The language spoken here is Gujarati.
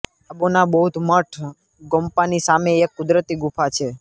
તાબોના બૌદ્ધ મઠ ગોમ્પાની સામે એક કુદરતી ગુફા છે